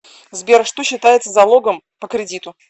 сбер что считается залогом по кредиту